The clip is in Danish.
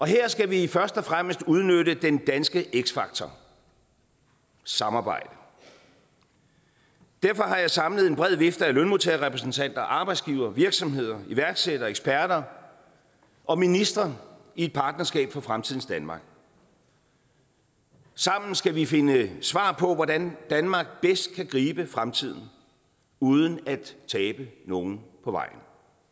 her skal vi først og fremmest udnytte den danske x faktor samarbejde derfor har jeg samlet en bred vifte af lønmodtagerrepræsentanter arbejdsgivere virksomheder iværksættere eksperter og ministre i et partnerskab for fremtidens danmark sammen skal vi finde svar på hvordan danmark bedst kan gribe fremtiden uden at tabe nogen på vejen